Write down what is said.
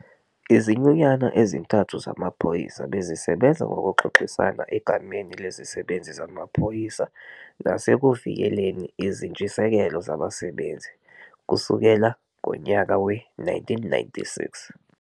Izinyunyana ezintathu zamaphoyisa bezisebenza ngokuxoxisana egameni lezisebenzi zamaphoyisa nasekuvikeleni izintshisekelo zabasebenzi, kusukela ngonyaka we-1996.